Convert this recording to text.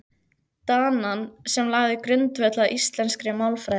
Danann sem lagði grundvöll að íslenskri málfræði.